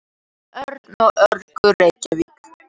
Örn og Örlygur, Reykjavík.